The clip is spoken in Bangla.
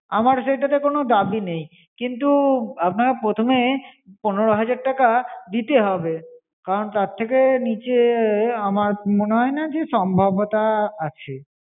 আমার সেটাতে কোনো দাবি নেই। কিন্তু আপনার প্রথমে পনেরো হাজার টাকা দিতে হবে, কারণ তার থেকে নীচে আমার মনে হয়না যে সম্ভবতা আছে।